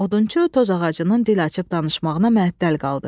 Odunçu toz ağacının dil açıb danışmağına məhəttəl qaldı.